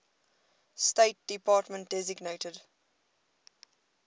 state department designated